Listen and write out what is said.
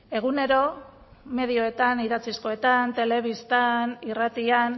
egunero medioetan idatzizkoetan telebistan irratian